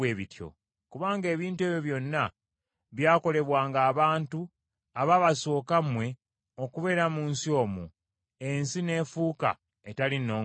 Kubanga ebintu ebyo byonna byakolebwanga abantu abaabasooka mmwe okubeera mu nsi omwo, ensi n’efuuka etali nnongoofu.